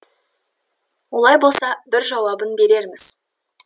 олай болса бір жауабын берерміз